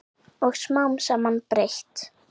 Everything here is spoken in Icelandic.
Og smám saman breyt